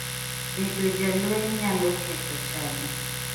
Bedo jalweny nyalo ketho chadi.